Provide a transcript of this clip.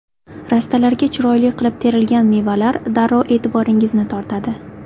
Rastalarga chiroyli qilib terilgan mevalar darrov e’tiboringizni tortadi?